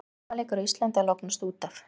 Eru hnefaleikar á Íslandi að lognast út af?